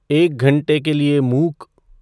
एक घंटे के लिए मूक